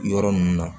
Yɔrɔ ninnu na